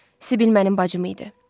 Sibil mənim bacım idi.